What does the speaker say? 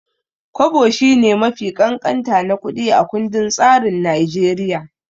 Kwabo shine mafi ƙanƙanta na kuɗi a kundin tsarin Naijeriya.